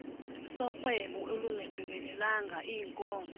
sorhwebo olungagqibelelanga iinkozo